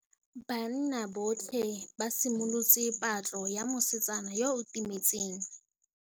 Banna botlhê ba simolotse patlô ya mosetsana yo o timetseng.